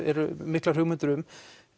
eru miklar hugmyndir um